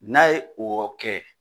N'a ye o kɛ